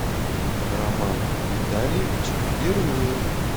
роман витальевич ермилов